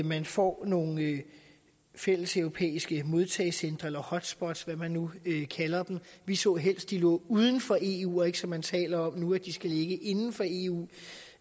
man får nogle fælleseuropæiske modtagecentre eller hotspots hvad man nu kalder dem vi så helst de lå uden for eu og ikke som man taler om nu at de skal ligge inden for eu